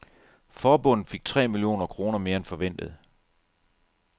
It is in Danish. Forbundet fik tre millioner kroner mere end forventet.